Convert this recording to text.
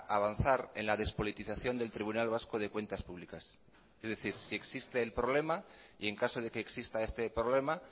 avanzar en la despolitización del tribunal vasco de cuentas públicas es decir si existe el problema y en caso de que exista este problema